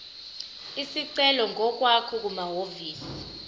isicelo ngokwakho kumahhovisi